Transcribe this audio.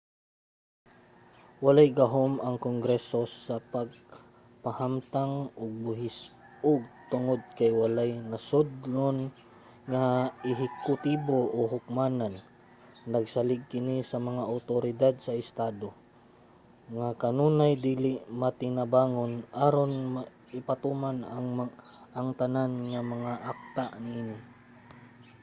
walay gahum ang kongreso sa pagpahamtang og buhis ug tungod kay walay nasodnon nga ehekutibo o hukmanan nagsalig kini sa mga awtoridad sa estado nga kanunay dili matinabangon aron ipatuman ang tanan nga mga akta niini